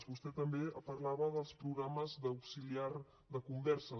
vostè també parlava dels programes d’auxiliar de conversa